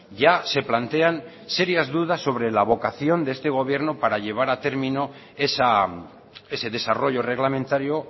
ya se plantean serias dudas sobre la vocación de este gobierno para llevar a término ese desarrollo reglamentario